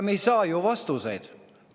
" Me ei saa ju vastuseid!